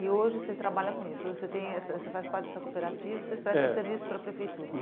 E hoje você trabalha com isso, você tem você você faz parte dessa cooperativa, você, é, presta serviços para a prefeitura.